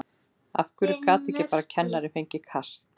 Af hverju gat ekki bara kennarinn fengið kast?